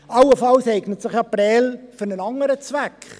Allenfalls eignet sich Prêles für einen anderen Zweck.